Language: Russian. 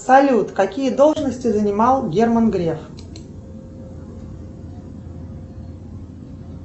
салют какие должности занимал герман греф